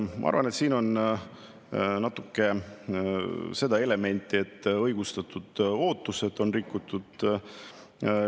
Ma arvan, et siin on natuke seda elementi, et õigustatud ootusi on rikutud.